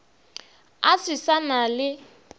a se sa na le